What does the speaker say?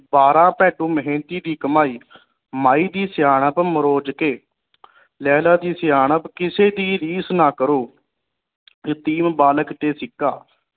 ਬਾਰਹ ਮੇਹਨਤੀ ਦੀ ਕਮਾਈ, ਮਾਈ ਦੀ ਸਿਆਣਪ ਮਰੋਜਕੇ, ਲੇਲਾ ਦੀ ਸਿਆਣਪ ਕਿਸੀ ਦੀ ਰੀਸ ਨਾ ਕਰੋ ਬਾਲਕ ਤੇ ਸਿੱਕਾ